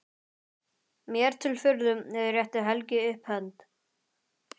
Mér til furðu réttir Helgi upp hönd.